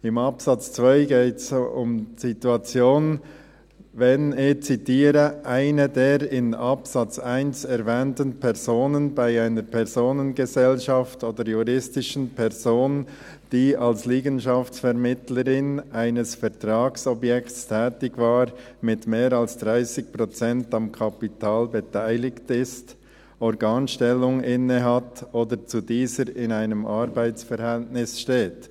Im Absatz 2 geht es um die Situation – ich zitiere –, «wenn eine der in Absatz 1 erwähnten Personen bei einer Personengesellschaft oder juristischen Person, die als Liegenschaftsvermittlerin eines Vertragsobjekts tätig war, mit mehr als 30 Prozent am Kapital beteiligt ist, Organstellung innehat oder zu dieser in einem Arbeitsverhältnis steht».